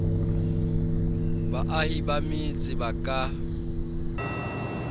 baahi ba metse ba ka